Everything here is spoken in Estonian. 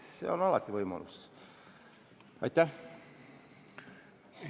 See võimalus jääb alati.